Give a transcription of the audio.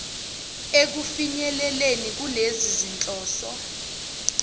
ekufinyeleleni kulezi zinhloso